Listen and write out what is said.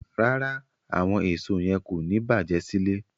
Rárá, àwọn èso yẹn kò ní bàjé sílé.